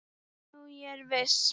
Nú er ég viss!